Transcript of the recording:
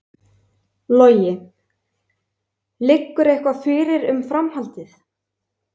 Logi: Liggur eitthvað fyrir um framhaldið?